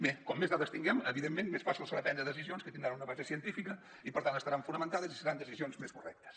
bé com més dades tinguem evidentment més fàcil serà prendre decisions que tindran una base científica i per tant estaran fonamentades i seran decisions més correctes